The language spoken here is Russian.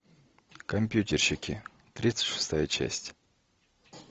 компьютерщики тридцать шестая часть